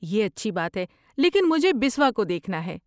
یہ اچھی بات ہے، لیکن مجھے بسوا کو دیکھنا ہے۔